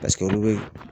Paseke olu be